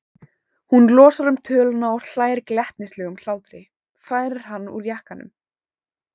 Hún losar um töluna og hlær glettnislegum hlátri, færir hann úr jakkanum.